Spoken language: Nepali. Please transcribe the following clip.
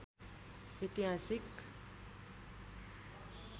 ऐतिहासिक